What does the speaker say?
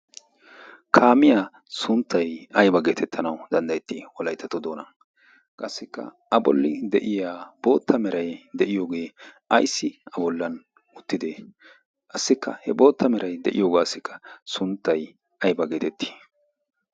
kaamiya sunttay aybba geetettanawu danddayetii wolayttatto doonan, qassikka a bolli de'iya boota meray de'iyogee ayssi a bolan uttidee? qassikka he boota meray de'iyogaassikka sunttay aybba geetettii?